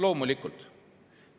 Loomulikult!